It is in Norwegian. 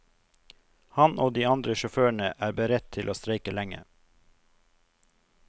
Han og de andre sjåførene er beredt til å streike lenge.